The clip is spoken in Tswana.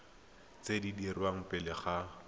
tse di dirwang pele ga